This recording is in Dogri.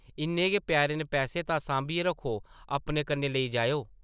इन्ने गै प्यारे न पैसे तां सांभियै रक्खो; अपने कन्नै लेई जाएओ ।